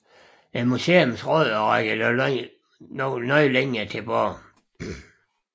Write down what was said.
Museets rødder rækker dog længere tilbage